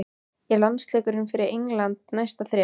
Er landsleikur fyrir England næsta þrep?